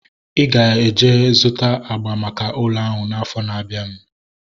Ị ga-eje zụta agba maka ụlọ ahu afọ na-abianu